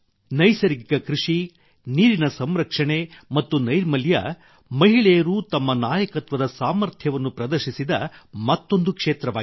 ನೈಸರ್ಗಿಕ ಕೃಷಿ ನೀರಿನ ಸಂರಕ್ಷಣೆ ಮತ್ತು ನೈರ್ಮಲ್ಯ ಮಹಿಳೆಯರು ತಮ್ಮ ನಾಯಕತ್ವದ ಸಾಮರ್ಥ್ಯವನ್ನು ಪ್ರದರ್ಶಿಸಿದ ಮತ್ತೊಂದು ಕ್ಷೇತ್ರವಾಗಿದೆ